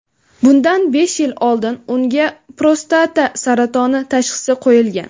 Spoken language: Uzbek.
Bundan besh yil oldin unga prostata saratoni tashxisi qo‘yilgan.